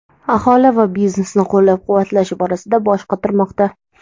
aholi va biznesni qo‘llab-quvvatlash borasida bosh qotirmoqda.